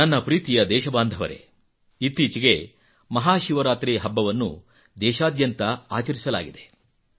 ನನ್ನ ಪ್ರೀತಿಯ ದೇಶಬಾಂಧವರೆ ಇತ್ತೀಚೆಗೆ ಮಹಾಶಿವರಾತ್ರಿ ಹಬ್ಬವನ್ನು ದೇಶಾದ್ಯಂತ ಆಚರಿಸಲಾಗಿದೆ